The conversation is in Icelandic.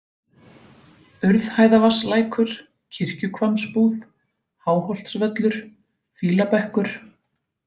Urðhæðavatnslækur, Kirkjuhvammsbúð, Háholtsvöllur, Fýlabekkur